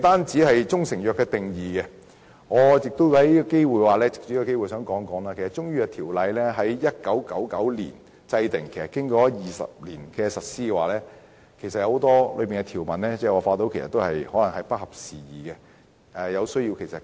除了"中成藥"的定義，我也藉此機會談談《條例》在1999年制定，經過了20年的實施，當中有很多條文可能已經不合時宜，有需要更新。